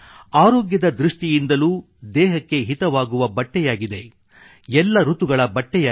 ಆರೋಗ್ಯದ ದೃಷ್ಟಿಯಿಂದಲೂ ದೇಹಕ್ಕೆ ಹಿತವಾಗುವ ಬಟ್ಟೆಯಾಗಿದೆ ಎಲ್ಲ ಋತುಗಳ ಬಟ್ಟೆಯಾಗಿದೆ